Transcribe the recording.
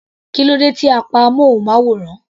Kílódé tí a pa amúnmáwòrán.